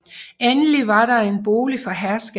Endelig var der en bolig for herskabet